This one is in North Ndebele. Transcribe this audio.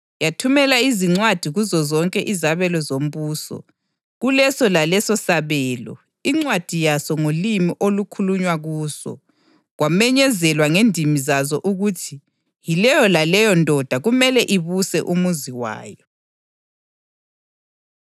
Yathumela izincwadi kuzozonke izabelo zombuso, kuleso laleso sabelo incwadi yaso ngolimi olukhulunywa kuso, kwamenyezelwa ngendimi zazo ukuthi yileyo laleyo ndoda kumele ibuse umuzi wayo.